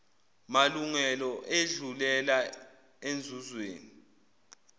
malungelo edlulela enzuzweni